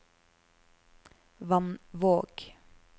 Vannvåg